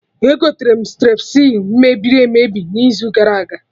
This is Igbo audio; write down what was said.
Egoterem strepsils mebiri emebi n'izu gara aga